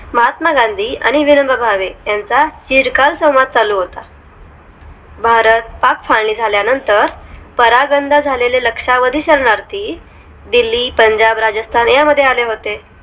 हात्मा गांधी आणि विनोबा भावे यांचा चिर काल संवाद चालू होता भारत पाक फाळणी झाल्यानंतर परागंदा झालेले लक्षावधी शरणार्थी ती दिल्ली पंजाब राजस्थान यांमध्ये आले होते